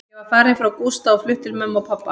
Ég var farin frá Gústa og flutt til mömmu og pabba.